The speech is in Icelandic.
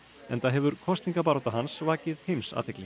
enda hefur kosningabarátta hans vakið heimsathygli